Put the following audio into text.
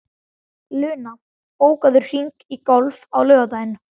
Luna, bókaðu hring í golf á laugardaginn.